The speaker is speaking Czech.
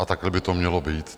A takhle by to mělo být.